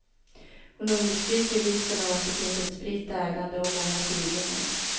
Hon understryker vikten av att det finns ett spritt ägande och många tidningar.